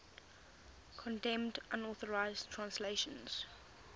condemned unauthorized translations